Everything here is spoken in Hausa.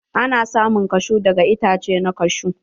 Ana samun kashu daga itace na kashu.